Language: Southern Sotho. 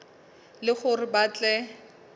e le hore ba tle